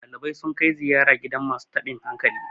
dalibai sun kai ziyara gidan masu tabin hankali